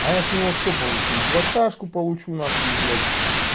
а я с него всё получу и двадцатку получу нахуй блять